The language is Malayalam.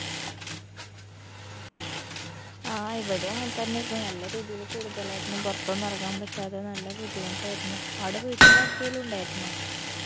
ആ ഇവിടേം അങ്ങൻതന്നേർന്നു നല്ല രീതിയില് കൂടുതലായിരുന്നു പൊറത്തൊന്നു എറങ്ങാൻ പറ്റാതെ നല്ല ബുദ്ധിമുട്ടായിരുന്നു ആട വീട്ടിലാർക്കേലും ഉണ്ടായിരുന്നോ